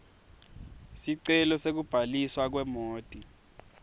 sicelo sekubhaliswa kwemoti